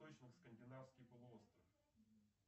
скандинавский полуостров